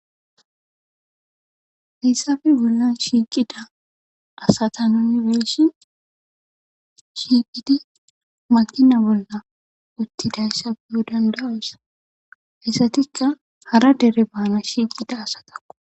Hayssappe bollan shiiqida asata nuuni be'shin shiiqidi makiina bolla uttidayssa be'o danda'os izatikka hara dere baanas shiiqida.